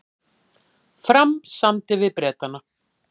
Fram samdi við Bretana